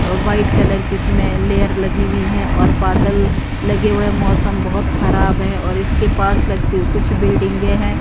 अ white colour कि इस में लेयर लगी हुई हैं और बादल लगे हुए मौसम बहोत खराब है और इसके पास लगती हु कुछ बिल्डिंगे हैं।